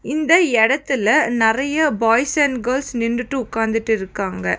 இந்த எடத்துல நெறைய பாய்ஸ் அண்ட் கேர்ள்ஸ் நின்டுட்டு உக்காந்துட்டிருக்காங்க.